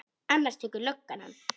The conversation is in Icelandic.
Annars tekur löggan hann.